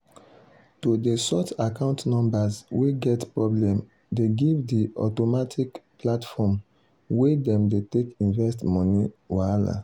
to dey sort account numbers wey get problem dey give the automatic platform wey dem dey take invest money wahala.